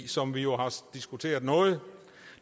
som vi jo har diskuteret noget